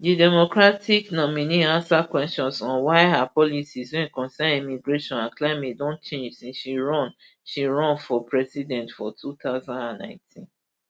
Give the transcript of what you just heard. di democratic nominee ansa questions on why her policies wey concern immigration and climate don change since she run she run for president for two thousand and nineteen